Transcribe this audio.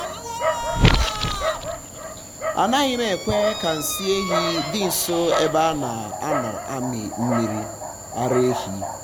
anaghị m ekwe ka nsị ehi dị nso ebe a a na-amị mmiri ara ehi.